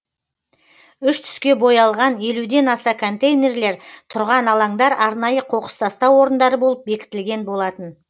үш түске боялған елуден аса контейнерлер тұрған алаңдар арнайы қоқыс тастау орындары болып бекітілген болатын